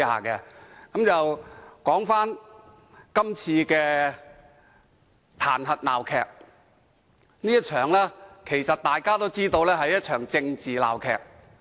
說回今次的彈劾鬧劇。其實，大家都知道這是一場政治鬧劇。